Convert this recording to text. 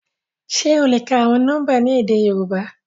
Ṣe o le ka awọn nọmba ni édé Yorùbá?